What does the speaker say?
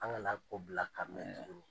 An kana a ko bila ka mɛn tuguni